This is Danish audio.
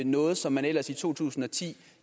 noget som man ellers i to tusind og ti